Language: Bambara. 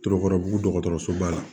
Tɔɔrɔ bu dɔgɔtɔrɔsoba la